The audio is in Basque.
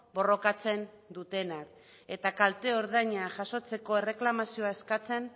borrokatzen dutenak eta kalte ordaina jasotzeko erreklamazioa eskatzen